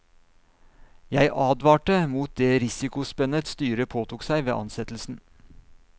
Jeg advarte mot det risikospennet styret påtok seg ved ansettelsen.